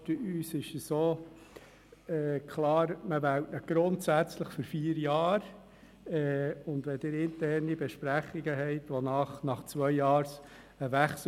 Es ist uns auch klar, dass man ihn grundsätzlich für vier Jahre wählt – auch wenn Sie einen Wechsel nach zwei Jahren intern vereinbart haben.